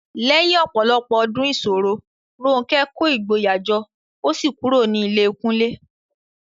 Lẹ́yìn ọ̀pọ̀lọpọ̀ ọdún ìṣòro, Ronke kó ìgboyà jọ ó sì kúrò ní ilé Kunle.